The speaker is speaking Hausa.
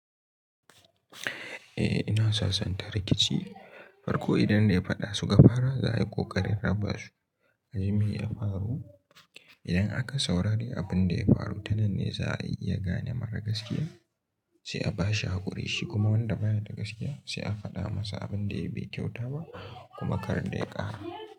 Eh ina sasanta rikici, farko idan dai faɗa su ka fara za a yi ƙoƙarin raba su. Aji me ya faru idan aka saurari abun da ya faru, tanan ne za a iya gane mara gaskiya sai a bashi haƙuri shi kuma wanda baya da gaskiya sai a faɗa masa abun da yayi bai kyauta ba kuma kar da ya ƙara.